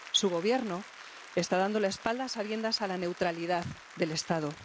Su Gobierno está dando la espalda, a sabiendas, a la neutralidad del Estado.